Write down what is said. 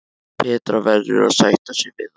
Petra verður að sætta sig við það.